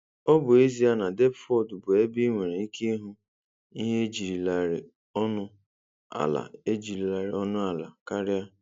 Ọ bụ ezie na Depford bụ ebe ị nwere ike ịhụ ihe ejilarị ọnụ ala ejilarị ọnụ ala karịa.